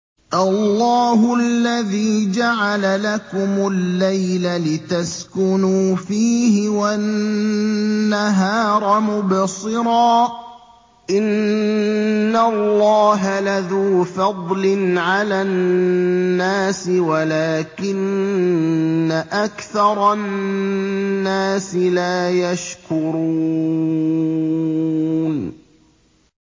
اللَّهُ الَّذِي جَعَلَ لَكُمُ اللَّيْلَ لِتَسْكُنُوا فِيهِ وَالنَّهَارَ مُبْصِرًا ۚ إِنَّ اللَّهَ لَذُو فَضْلٍ عَلَى النَّاسِ وَلَٰكِنَّ أَكْثَرَ النَّاسِ لَا يَشْكُرُونَ